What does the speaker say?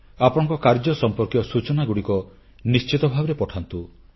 ଆପଣଙ୍କ କାର୍ଯ୍ୟ ସମ୍ପର୍କୀୟ ସୂଚନାଗୁଡ଼ିକ ନିଶ୍ଚିତ ଭାବରେ ପଠାନ୍ତୁ